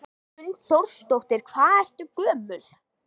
Hrund Þórsdóttir: Hvað ertu gömul?